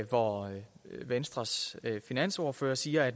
hvor venstres finansordfører siger at